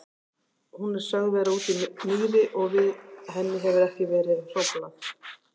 Hún er sögð vera úti í mýri og við henni hefur ekki verið hróflað.